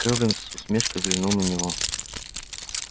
кэлвин с усмешкой взглянул на него